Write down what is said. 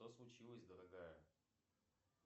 что случилось дорогая